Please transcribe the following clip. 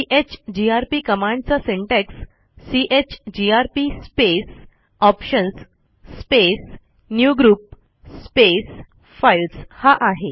chgrp कमांडचा syntax chgrp space options space newgrp space files हा आहे